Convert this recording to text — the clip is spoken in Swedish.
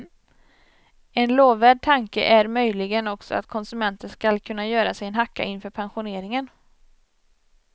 En lovvärd tanke är möjligen också att konsumenten skall kunna göra sig en hacka inför pensioneringen.